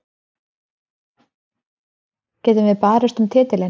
Getum við barist um titilinn?